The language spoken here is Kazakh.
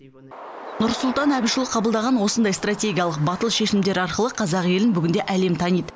нұрсұлтан әбішұлы қабылдаған осындай стратегиялық батыл шешімдер арқылы қазақ елін бүгінде әлем таниды